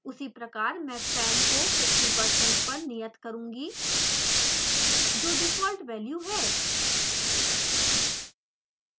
उसी प्रकार मैं fan को 50% पर नियत करुँगी जो डिफ़ॉल्ट वैल्यू है